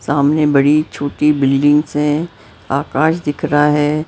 सामने बड़ी छोटी बिल्डिंग्स हैं आकाश दिख रहा है।